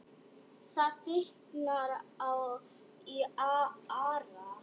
Það þykknar í Ara